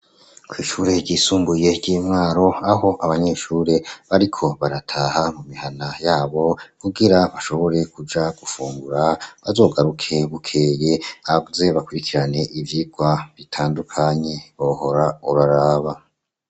Kw'ishure ryisumbuye ry'imwaro aho abanyeshure bariko barataha mu mihana yabo kugira bashobore kuja gufungura, bazogaruke bukeye baze bakurikirane ivyirwa bitandukanye bohora uraraba.